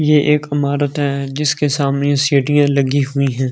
ये एक इमारत है जिसके सामने सीढ़ियां लगी हुई हैं।